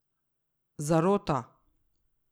Zarota?